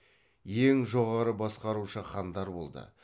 ең жоғары басқарушы хандар болды